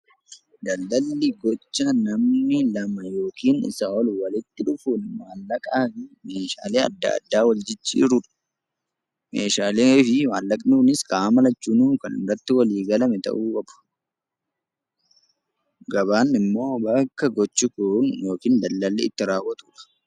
Daldaalli gocha namni lama yookiin isaa ol walitti dhufuun maallaqaan yookiin meeshaalee adda addaan wal jijjiiruun yoo ta'u gabaan immoo bakka daldaalli itti raawwatu jechuudha.